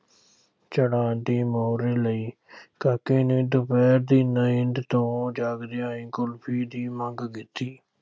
ਛੱਡਾਂਗੀ ਲਈ ਕਾਕੇ ਨੇ ਦੁਪਹਿਰ ਦੀ ਨੀਂਦ ਤੋਂ ਜਾਗਦਿਆਂ ਹੀ ਕੁਲਫ਼ੀ ਦੀ ਮੰਗ ਕੀਤੀ।